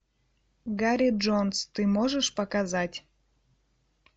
гарри джонс ты можешь показать